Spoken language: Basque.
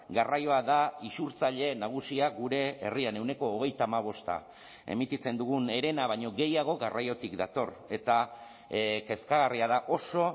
garraioa da isurtzaile nagusia gure herrian ehuneko hogeita hamabosta emititzen dugun herena baino gehiago garraiotik dator eta kezkagarria da oso